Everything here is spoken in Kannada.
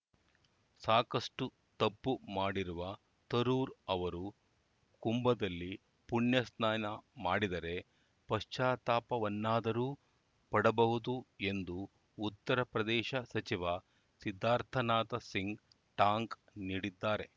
ಸಾಕಷ್ಟುತಪ್ಪು ಮಾಡಿರುವ ತರೂರ್‌ ಅವರು ಕುಂಭದಲ್ಲಿ ಪುಣ್ಯ ಸ್ನಾನ ಮಾಡಿದರೆ ಪಶ್ಚಾತ್ತಾಪವನ್ನಾದರೂ ಪಡಬಹುದು ಎಂದು ಉತ್ತರಪ್ರದೇಶ ಸಚಿವ ಸಿದ್ಧಾರ್ಥನಾಥ ಸಿಂಗ್‌ ಟಾಂಗ್‌ ನೀಡಿದ್ದಾರೆ